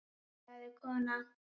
sagði konan.